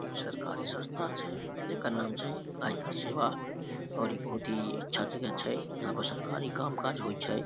इ सरकारी संस्था छै जेकर नाम छै आयकर सेवा और इ बहुत ही अच्छा जगह छै इहाँ पर सरकारी काम काज होई छै।